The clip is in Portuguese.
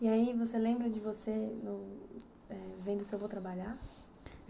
E aí você lembra de você eh vendo seu avô trabalhar?